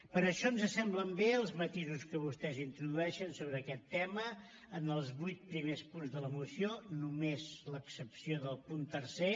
per això ens semblen bé els matisos que vostès introdueixen sobre aquest tema en els vuit primers punts de la moció només amb l’excepció del punt tercer